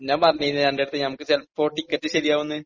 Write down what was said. ഞാൻ പറഞ്ഞില്ലേ നിന്റടുത്ത് നമുക്ക് ചെലപ്പോ ടിക്കറ്റ് ശരിയാകും എന്ന്